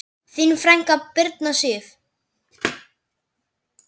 Þín frænka, Birna Sif.